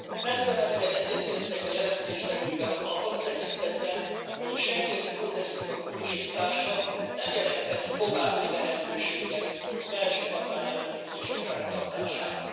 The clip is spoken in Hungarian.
Messzemenően egyetértek a jelentéstevővel abban a tekintetben, hogy a schengeni kódexnek a módosítása nem jelenthet további lehetőséget a belső határellenőrzések fenntartására.